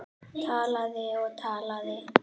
Talaði og talaði.